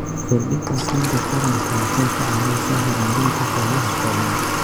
Kordhinta aqoonta taranta waxay ka caawisaa horumarinta hawlaha xoolaha.